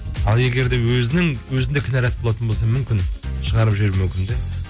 ал егер де өзінде кінәрат болатын болса мүмкін шығарып жіберу мүмкін де